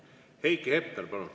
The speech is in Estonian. Heiki Hepner, palun!